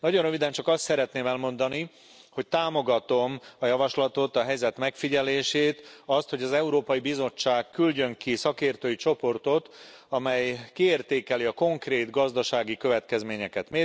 Nagyon röviden csak azt szeretném elmondani, hogy támogatom a javaslatot, a helyzet megfigyelését, azt, hogy az Európai Bizottság küldjön ki szakértői csoportot, amely kiértékeli a konkrét gazdasági következményeket.